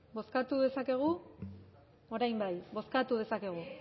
bozkatu dezakegu orain bai bozkatu dezakegu